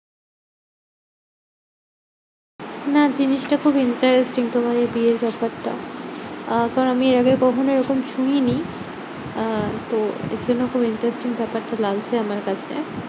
না জিনিসটা খুব interesting তোমার এই বিয়ের ব্যাপারটা। আহ পর আমি এরআগে কখনো এরকম শুনিনি। আহ তো এটার জন্য খুব interesting ব্যাপারটা লাগছে আমার কাছে।